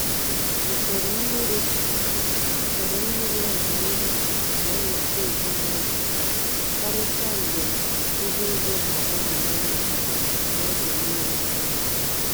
Usoro mmiri Usoro mmiri amamihe na-eweta udo n’obi, karịsịa mgbe ihu igwe na-agbanwe ngwa ngwa na oge mmiri adịghị.